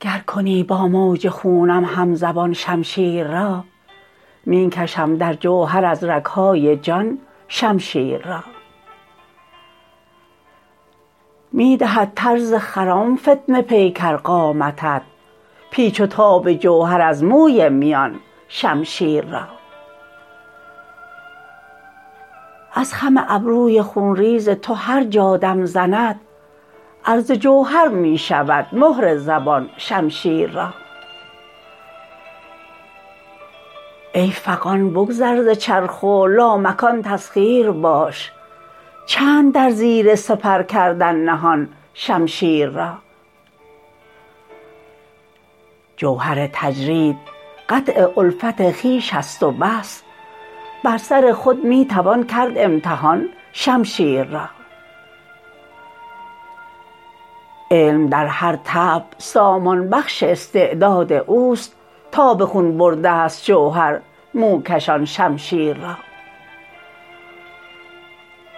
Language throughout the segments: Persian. گرکنی با موج خونم همزبان شمشیررا می کشم در جوهر از رگهای جان شمشیر را می دهد طرز خرم فتنه پیکر قامتت پیچ وتاب جوهر از موی میان شمشیر را از خم ابروی خونریزتو هر جا دم زند عرض جوهر می شود مهر زبان شمشیر را ای فغان بگذر ز چرخ و لامکان تسخیر باش چند در زیر سپرکردن نهان شمشیر را جوهرتجرید قطع الفت خویش است وبس بر سر خود می توان کرد امتحان شمشیر را علم در هر طبع سامان بخش استعداد اوست تا به خون برده ست جوهر موکشان شمشیر را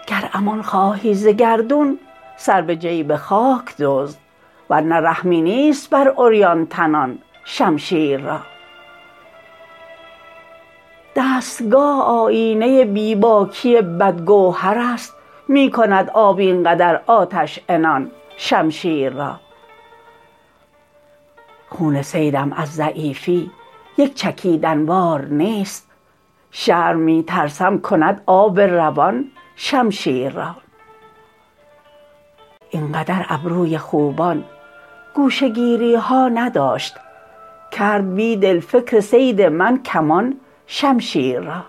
گر امان خواهی زگردون سربه جیب خاک دزد ورنه رحمی نیست بر عریان تنان شمشیر را دستگاه آیینه بیباکی بدگوهر است می کند آب اینقدر آتش عنان شمشیر را خون صیدم از ضعیفی یک چکیدن وار نیست شرم می ترسم کند آب روان شمشیر را اینقدر ابروی خوبان گوشه گیریها نداشت کرد بیدل فکر صید من کمان شمشیر را